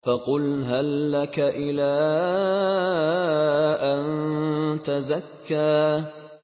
فَقُلْ هَل لَّكَ إِلَىٰ أَن تَزَكَّىٰ